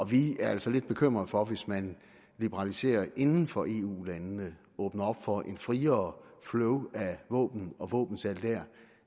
vi er altså lidt bekymret for hvis man liberaliserer inden for eu landene åbner op for et friere flow af våben og våbensalg der